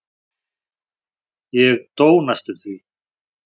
Ég dó næstum því.